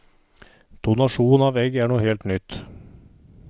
Donasjon av egg er noe helt nytt.